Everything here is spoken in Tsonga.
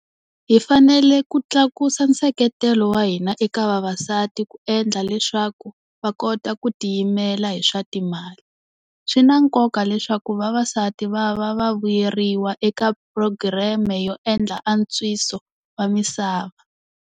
Hi fanele ku tlakusa nseketelo wa hina eka vavasati ku endla leswaku va kota ku ti yimela hi swa timali. Swi na nkoka leswaku vavasati va va va vuyeriwa eka phurogireme yo endla antswiso wa misava.